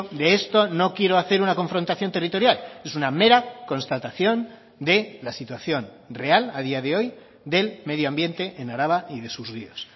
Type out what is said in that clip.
de esto no quiero hacer una confrontación territorial es una mera constatación de la situación real a día de hoy del medio ambiente en araba y de sus ríos